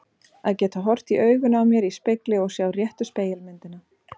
Að geta horft í augun á mér í spegli og sjá réttu spegilmyndina.